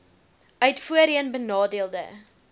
uit voorheen benadeelde